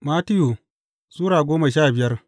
Mattiyu Sura goma sha biyar